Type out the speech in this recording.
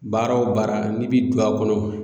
Baara o baara n'i bi don a kɔnɔ